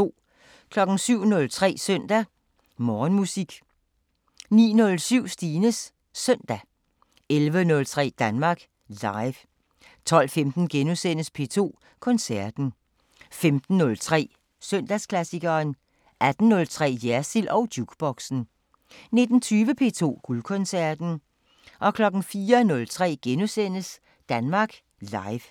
07:03: Søndag Morgenmusik 09:07: Stines Søndag 11:03: Danmark Live 12:15: P2 Koncerten * 15:03: Søndagsklassikeren 18:03: Jersild & Jukeboxen 19:20: P2 Guldkoncerten 04:03: Danmark Live *